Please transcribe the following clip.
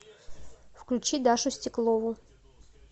включи дашу стеклову